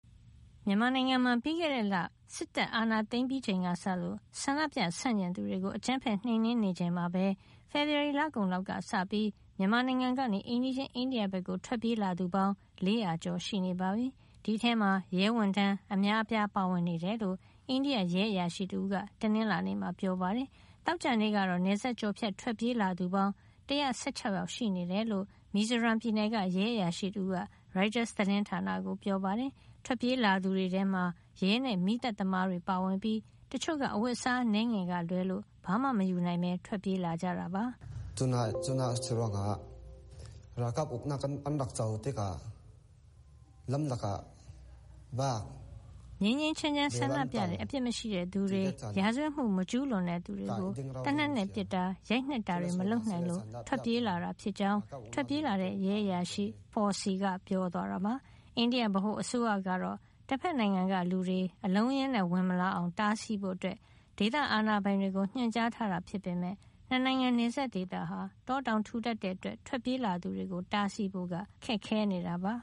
မြန်မာနိုင်ငံမှာ ပြီးခဲ့တဲ့လ စစ်တပ်အာဏာသိမ်းပြီးချိန်ကစလို့ ဆန္ဒပြဆန့်ကျင်သူတွေကို အကြမ်းဖက် နှိမ်နင်းနေချိန်မှာပဲ ဖေဖေါ်ဝါရီ လကုန်လောက်က စပြီး မြန်မာနိုင်ငံကနေ အိမ်နီးချင်း အိန္ဒိယ ဘက်ကို ထွက်ပြေး ခိုလှုံလာသူ ၄၀၀ ကျော် ရှိနေပါပြီ။ ဒီအထဲမှာ ရဲဝန်ထမ်း အများအပြားပါဝင်နေတယ်လို့ အိန္ဒိယရဲအရာရှိတဦးက တနင်္လာနေ့မှာ ပြောပါတယ်။ သောကြာနေ့ကတော့ နယ်စပ်ကျော်ဖြတ် ထွက်ပြေးလာသူပေါင်း ၁၁၆ ယောက် ရှိနေတယ်လို့ မီဇိုရမ်ပြည်နယ်က ရဲအရာရှိတဦးက ရိုက်တာသတင်းဌာနကို ပြောပါတယ်။ ထွက်ပြေးလာသူတွေထဲမှာ ရဲနဲ့ မီးသတ်သမားတွေ ပါဝင်ပြီး တချို့က အဝတ်အစားအနည်းငယ်ကလွဲလို့ ဘာမှ မယူနိုင်ပဲထွက် ပြေးလာကြတာပါ။ “ငြိမ်းငြိမ်းချမ်းချမ်း ဆန္ဒပြတဲ့ အပြစ်မရှိတဲ့ လူတွေ၊ ရာဇဝတ်မှုမကျူးလွန်တဲ့ လူတွေကို သေနတ်နဲ့ ပစ်တာ ရိုက်နှက်တာတွေ မလုပ်နိုင်လို့ ထွက်ပြေးလာတာ ဖြစ်ကြောင်း” ထွက်ပြေးလာတဲ့ ရဲအရာရှိ Foursi က ပြောသွားတာပါ။ အိန္ဒိယ ဗဟိုအစိုးရကတော့ တဖက်နိုင်ငံက လူတွေ အလုံးအရင်းနဲ့ ဝင်မလာအောင် တားဆီးဖို့ ဒေသ အာဏာပိုင်တွေကိုညွှန်ကြား ထားတာ ဖြစ်ပေမယ့် ၂ နိုင်ငံ နယ်စပ်ဒေသဟာ တောတောင် ထူထပ်တဲ့ အတွက် ထွက်ပြေးလာသူတွေကို တားဆီးဖို့ခက်ခဲနေတာပါ